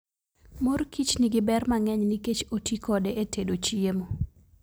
Mor kich nigi ber mang'eny nikech oti kode e tedo chiemo.